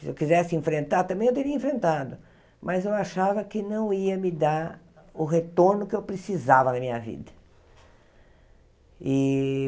Se eu quisesse enfrentar, também eu teria enfrentado, mas eu achava que não ia me dar o retorno que eu precisava na minha vida e.